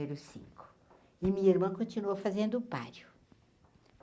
E minha irmã continuou fazendo o.